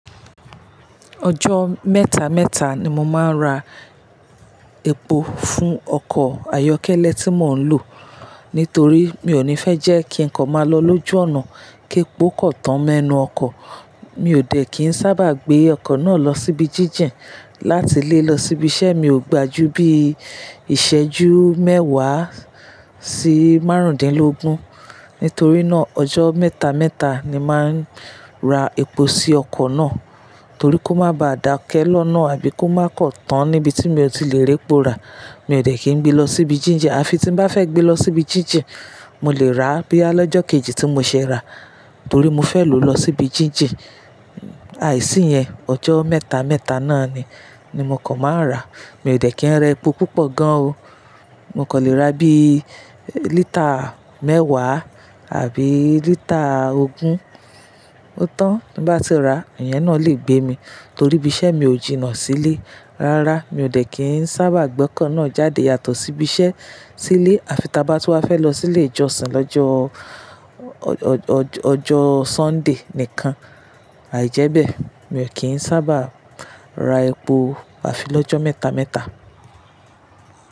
Ọjọ́ mẹ́ta mẹ́ta ni mo máa ń ra epo fún ọkọ̀ ayọ́kẹ́lẹ́ tí mò ń lò. Nítorí mi ò ní fẹ́ jẹ́ kí ǹkan máa lọ lójú ọ̀nà kí epo kọ̀ tán mẹ́nua ọkọ̀. Mi ò dẹ̀ kín sábà gbé ọkọ̀ náà lọ síbi jíjìn láti lé lọ síbi iṣẹ́ mi ò gbajú bí ìṣẹ́jú mẹ́wàá sí márùndínlógún. Nítorí náà, ọjọ́ mẹ́ta mẹ́ta ni máa ń ra epo sí ọkọ̀ náà, torí kó má ba à dákẹ́ lọ́nà àbí kó má kọ̀ tán níbi tí mi ò tí lè répo rà. Mi ò dẹ̀ kín gbé lọ síbi jíjìn, àfi tí n bá fẹ́ gbé lọ síbi jíjìn, mo lè ra bíá lọ́jọ́ kejì tí mo ṣe rà torí mo fẹ́ lò lọ síbi jíjìn. Aìsí yẹn, ọjọ́ mẹ́ta mẹ́ta náà ni, ni mo kàn máa ń rà. Mi ò dẹ̀ kín ra epo púpọ̀ gan o. Mo kọ lè ra bí lítà mẹ́wàá àbí lítà ogún. Ó tán tí bá n ti ra, ìyẹn náà lè gbé mi torí bí iṣẹ́ mi ò jìnnà sílé. Rárá, mi ò dẹ̀ kín sábà gbé ọkọ̀ náà jáde yàtọ̀ síbi iṣẹ́ sílé àfi tí a bá tú wà fẹ́ lọ sílé ìjọsìn lọ́jọ́ ọ̀-- ọjọ́ Sunday nìkan. Àìjẹ́bẹ̀, mi ò kín sábà ra epo àfi lọ́jọ́ mẹ́ta mẹ́ta.